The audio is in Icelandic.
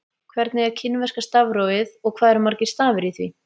Hvernig er kínverska stafrófið og hvað eru margir stafir í því?